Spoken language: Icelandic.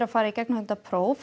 fara í gegnum þetta próf